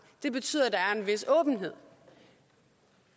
det betyder at der er en vis åbenhed